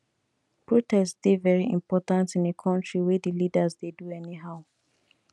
protest dey very important in a country wey di leaders dey do anyhow